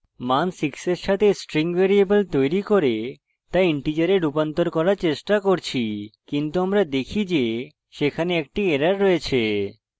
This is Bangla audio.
মান 6 এর সাথে string ভ্যারিয়েবল তৈরী করে তা integer রূপান্তর করার চেষ্টা করছি কিন্তু আমরা দেখি যে সেখানে একটি error রয়েছে